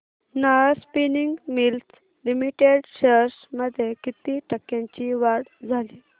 Nahar spinning mills limited shares मध्ये किती टक्क्यांची वाढ झाली